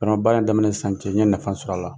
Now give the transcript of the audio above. Bɛnɔgɔ, baara in daminɛ ni sisan cɛ n' ɲɛ nafa sɔrɔ a la.